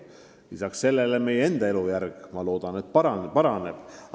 Lisaks sellele meie enda elujärg, ma vähemalt loodan, paraneb.